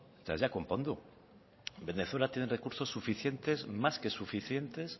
eta ez dira konpondu venezuela tiene recursos suficientes más que suficientes